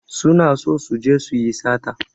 Su na so su je su yi sata.